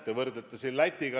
Te võrdlete meid Lätiga.